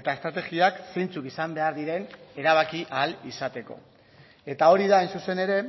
eta estrategiak zeintzuk izan behar diren erabaki ahal izateko eta hori da hain zuzen ere